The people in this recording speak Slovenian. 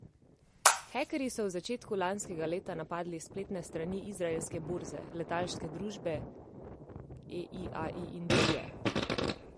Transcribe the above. Hekerji so v začetku lanskega leta napadli spletne strani izraelske borze, letalske družbe El Al in druge.